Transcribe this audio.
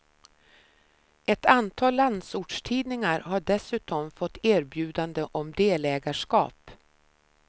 Ett antal landsortstidningar har dessutom fått erbjudande om delägarskap.